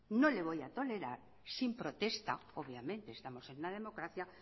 no le voy a tolerar sin protesta obviamente estamos en la democracia